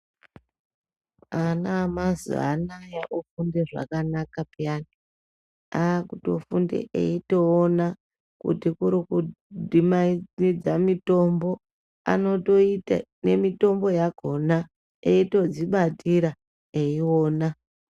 Ana emazuwa anaya ofunda zvakanaka peyani akutofunde eitoona kuti kuri dhibanise mitombo anotoita nemitombo yakona eitodzibatira eiona.